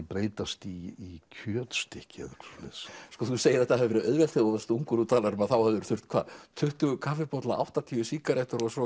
breytast í kjötstykki þú segir að þetta hafi verið auðvelt þegar þú varst ungur þú talar um að þú hafir þurft hvað tuttugu kaffibolla áttatíu sígarettur og svo